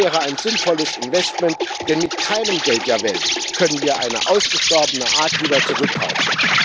Das wäre ein sinnvolles Investment, denn mit keinem Geld der Welt können wir eine ausgestorbene Art wieder zurückkaufen.